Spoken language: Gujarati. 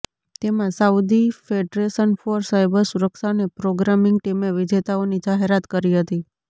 તેમાં સાઉદી ફેડરેશન ફોર સાઈબર સુરક્ષા અને પ્રોગ્રામિંગ ટીમે વિજેતાઓની જાહેરાત કરી હતી